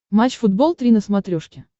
матч футбол три на смотрешке